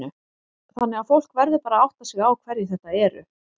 Þannig að fólk verður bara að átta sig á hverjir þetta eru?